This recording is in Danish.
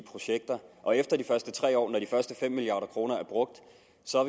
projekter og efter de første tre år når de første fem milliard kroner er brugt